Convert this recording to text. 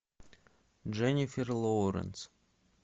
дженнифер лоуренс